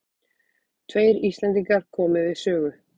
Tveir Íslendingar komu við sögu.